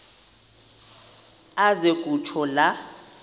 aze kutsho la